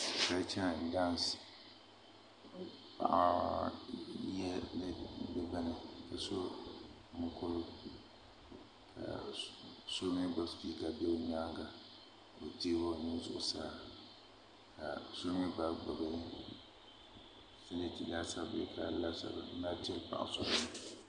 Kolcha and dans paɣa yɛla niɛma ka so mokuru ka so mii gbubi sipika ʒɛ o nyaanga ka teegi o nuu zuɣusaa ka so mii gba gbubi